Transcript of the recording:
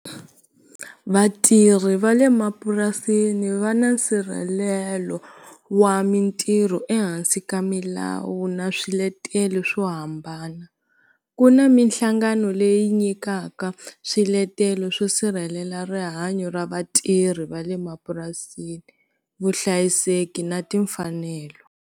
Vatirhi va le mapurasini va na nsirhelelo wa mintirho ehansi ka milawu na swiletelo swo hambana ku na minhlangano leyi nyikaka swiletelo swo sirhelela rihanyo ra vatirhi va le mapurasini vuhlayiseki na timfanelo.